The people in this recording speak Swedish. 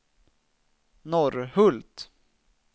Norrhult